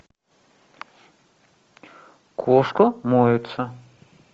кошка моется